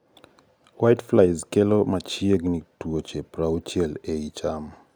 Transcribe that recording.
whiteflies kelo machiegni tuoche 60 ai cham